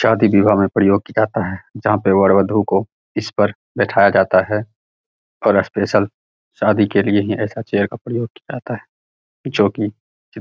शादी विवाह में प्रयोग किया जाता है जहां पर वर वधु को इस पर बैठाया जाता है और स्पेशल शादी के लिए ही ऐसा चेयर का प्रयोग किया जाता है जो की --